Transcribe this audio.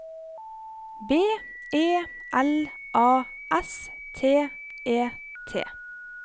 B E L A S T E T